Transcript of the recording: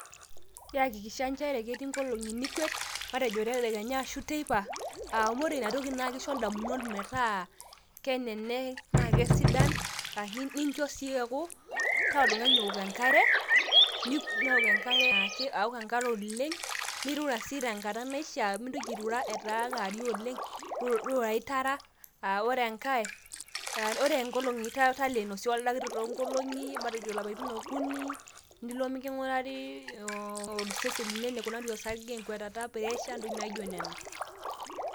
iyakikisha ajo ketii nkolong'i nikwet, tedekenya ashu teipa, amu ore ina toki naa kisho damunot, metaaa keneneng' naa kesidan, nincho sii eeku, taa oltungani ook enkare, anaake aok enkare oleng'.nirura sii tenkata naishaa, mintoki airura etaa kewarie oleng. irurayu tara, aa ore enkae ,talleno sii ldakitari too nkolong'i.